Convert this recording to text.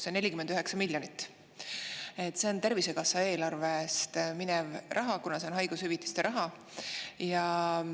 See 49 miljonit eurot läheks Tervisekassa eelarvest, kuna see on haigushüvitiste raha.